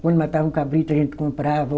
Quando matava um cabrito, a gente comprava.